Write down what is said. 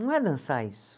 Não é dançar isso.